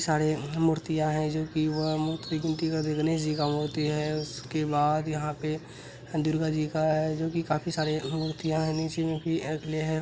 सारे मूर्तियां है ज़ो की वह गणेश जी का मूर्ति है। उसके बाद यहां पे दुर्गा जी का है जो कि काफी सारी मूर्तियां हैं नीचे में भी रखले है।